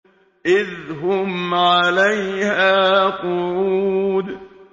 إِذْ هُمْ عَلَيْهَا قُعُودٌ